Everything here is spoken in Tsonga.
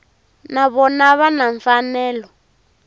na vona va na mfanelo